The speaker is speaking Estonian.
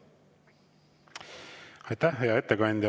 Aitäh, hea ettekandja!